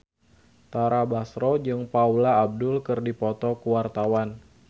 Tara Basro jeung Paula Abdul keur dipoto ku wartawan